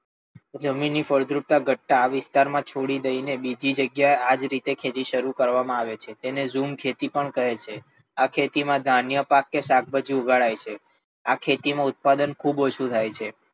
જમીન ની ફળદ્રુપતા ઘટતા આ વિસ્તાર માં છોડી દઈ ને બીજી જગ્યા એ આજ રીતે શરૂ કરવામાં આવે છે. તેને ઝૂમ ખેતી પણ કહે છે. આ ખેતી માં ધાન્ય પાક કે શાકભાજી ઉગાડાય છે. આ ખેતી માં ઉત્પાદન ખૂબ ઓછું થાય છે.